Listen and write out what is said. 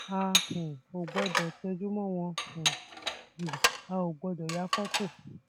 a um ò gbọdọ tẹjú mọ wọn um jù a ò gbọdọ ya fọtò